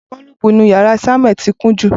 Boolubu inu yara Samueli ti kun jú